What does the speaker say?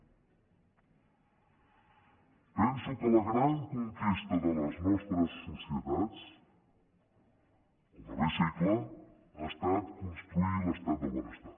penso que la gran conquesta de les nostres societats en el darrer segle ha estat construir l’estat del benestar